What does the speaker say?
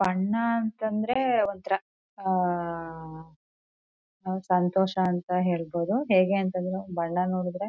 ಬಣ್ಣ ಅಂತಂದ್ರೆ ಒಂತರ ಆಹ್ಹ್ ಸಂತೋಷ ಅಂತ ಹೇಳ್ಬಹುದು ಹೇಗೆಆಂತ ಅಂದ್ರೆ ಬಣ್ಣ ನೋಡೂದ್ರೆ--